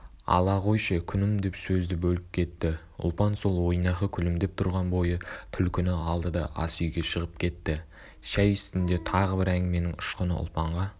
ала қойшы күнім деп сөзді бөліп кетті ұлпан сол ойнақы күлімдеп тұрған бойы түлкіні алды да ас үйге шығып кетті шай үстінде тағы бір әңгіменің ұшқыны ұлпанға